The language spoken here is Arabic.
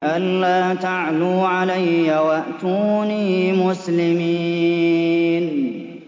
أَلَّا تَعْلُوا عَلَيَّ وَأْتُونِي مُسْلِمِينَ